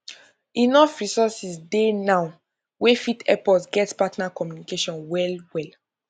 enough resources dey now wey fit help us get partner communication well well